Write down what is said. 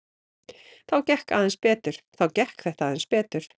Þá gekk þetta aðeins betur.